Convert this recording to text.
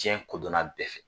Diɲɛ kodɔnna bɛɛ fɛ